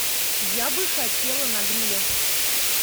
я бы хотела на гриле